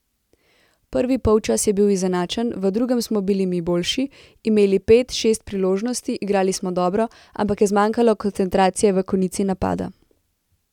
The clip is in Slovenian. Prvi polčas je bil izenačen, v drugem smo bili mi boljši, imeli pet, šest priložnosti, igrali smo dobro, ampak je zmanjkalo koncentracije v konici napada.